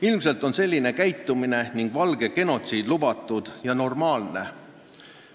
Ilmselt tundub selline käitumine ning valgete genotsiid lubatud ja normaalne olevat.